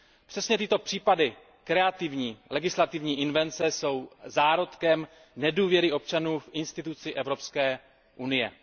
Přesně tyto případy kreativní legislativní invence jsou zárodkem nedůvěry občanů v instituci Evropské unie.